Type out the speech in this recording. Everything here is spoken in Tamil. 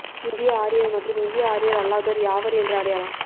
இந்திய ஆரியர் மற்றும் இந்திய ஆரியர் அல்லாதோர் யாவர் என்ற அடையாளம்